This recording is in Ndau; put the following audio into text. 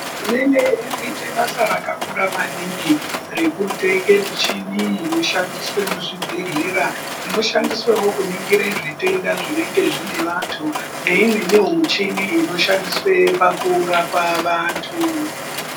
Hurumende irikuite basa rakakura maningi rekutenge michini inoshandiswe muzvibhehlera inoshandiswewo kuningire zvitenda zvinenge zvine vantu neimweniwo michini inoshandiswe pakurapa vantu.